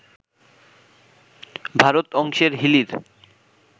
ভারত অংশের হিলির